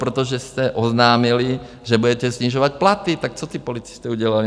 Protože jste oznámili, že budete snižovat platy, tak co ti policisté udělali?